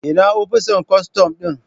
Ina opisan kostom din